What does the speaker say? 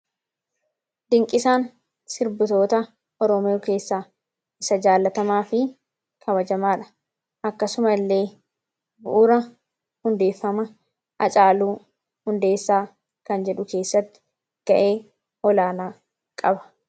Dinqisaan sirbitoota Oromoo keessaa isa jaallatamaa fi kabajamaa dha. Akkasuma illee, bu'uura hundeeffama Hacaaluu Hundeessaa kan jedhu keessatti gahee olaanaa qaba.